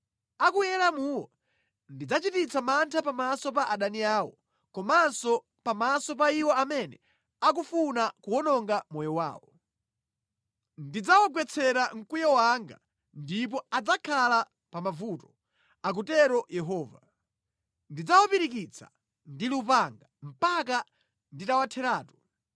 A ku Elamuwo ndidzachititsa mantha pamaso pa adani awo komanso pamaso pa iwo amene akufuna kuwononga moyo wawo. Ndidzawagwetsera mkwiyo wanga ndipo adzakhala pa mavuto,” akutero Yehova. “Ndidzawapirikitsa ndi lupanga mpaka nditawatheratu.